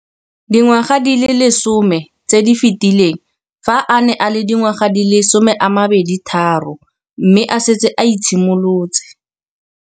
Dingwaga di le 10 tse di fetileng, fa a ne a le dingwaga di le 23 mme a setse a itshimoletse